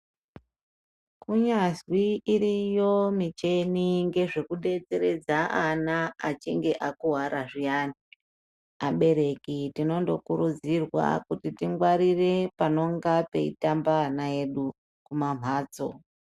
Kunyazwi iriyo micheni ngezvekubetseredza ana achinge akuvara zviyani. Abereki tinondo kurudzirwa kuti tingwarire panonga peitamba ana edu kumamhatso.